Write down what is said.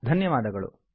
ಧನ್ಯವಾದಗಳು